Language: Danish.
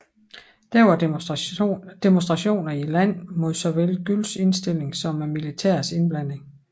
Der var demonstrationer i landet mod såvel Güls indstilling som militærets indblanding